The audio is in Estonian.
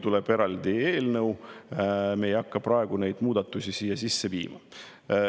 Tuleb eraldi eelnõu, me ei hakka praegu neid muudatusi siia sisse viima.